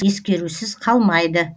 ескерусіз қалмайды